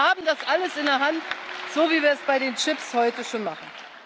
Wir haben das alles in der Hand, so, wie wir das bei den Chips heute schon machen.